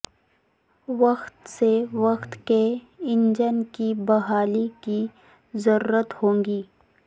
وقت سے وقت کے انجن کی بحالی کی ضرورت ہو گی